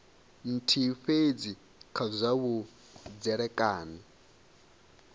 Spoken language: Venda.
nthihi fhedzi kha zwa vhudzekani